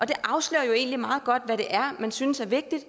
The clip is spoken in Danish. det afslører jo egentlig meget godt hvad det er man synes er vigtigt